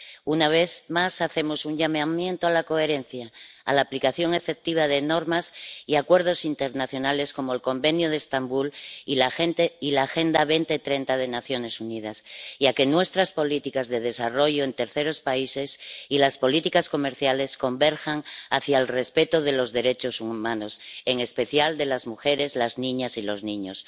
Una vez más, hacemos un llamamiento a la coherencia, a la aplicación efectiva de las normas y los acuerdos internacionales, como el Convenio de Estambul y la Agenda 2030 de las Naciones Unidas, y a que nuestras políticas de desarrollo en terceros países y las políticas comerciales converjan hacia el respeto de los derechos humanos, en especial de las mujeres, las niñas y los niños.